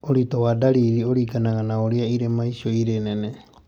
Ũritũ wa ndariri ũringanaga na ũrĩa irema rĩu rĩrĩ inene.